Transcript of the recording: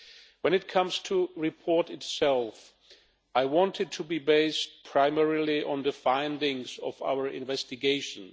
When it comes to the report itself, I want it to be based primarily on the findings of our investigations.